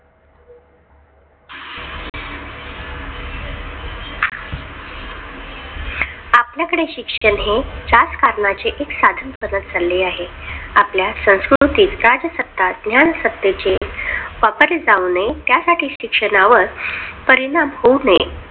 आपल्याकडे शिक्षण हे राजकारणाचे एक साधन बनत चालले आहे. आपल्या संस्कृतीत राजसत्ता, ज्ञान सत्तेचे वापर जाऊ नये, त्यासाठी शिक्षणावर परिणाम होऊ नये.